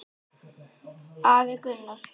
Afi Gunnar.